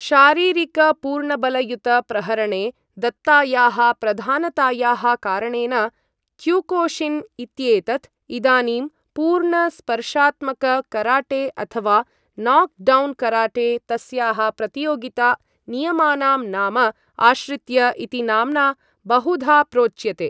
शारीरिक पूर्णबलयुत प्रहरणे दत्तायाः प्रधानतायाः कारणेन क्युकोशिन् इत्येतत् इदानीं पूर्ण स्पर्शात्मक कराटे अथ वा नाक् डौन् कराटे तस्याः प्रतियोगिता नियमानां नाम आश्रित्य इति नाम्ना बहुधा प्रोच्यते।